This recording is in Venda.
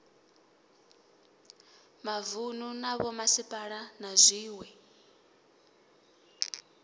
mavunu na vhomasipala na zwiwe